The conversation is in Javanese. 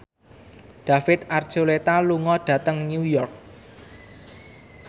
David Archuletta lunga dhateng New York